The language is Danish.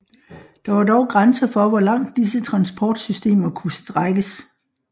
Der var dog grænser for hvor langt disse transportsystemer kunne strækkes